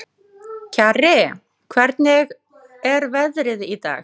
Kjarri, hvernig er veðrið í dag?